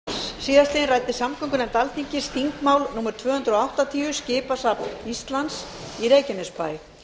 á fundi sínum annan mars síðastliðinn ræddi samgöngunefnd alþingis þingmál númer tvö hundruð áttatíu skipasafn íslands í reykjanesbæ